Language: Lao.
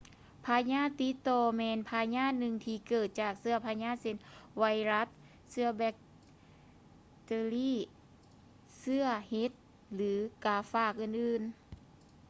ພະຍາດຕິດຕໍ່ແມ່ນພະຍາດໜຶ່ງທີ່ເກີດຈາກເຊື້ອພະຍາດເຊັ່ນ ໄວຮັດ ເຊື້ອບັກເຕີຣີ ເຊື້ອເຫັດ ຫຼື ກາຝາກອື່ນໆ